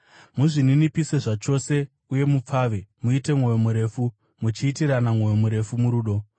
Muzvininipise zvachose uye mupfave; muite mwoyo murefu, muchiitirana mwoyo murefu murudo.